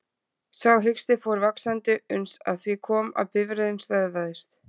Sá hiksti fór vaxandi uns að því kom að bifreiðin stöðvaðist.